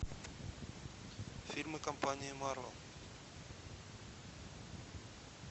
фильмы компании марвел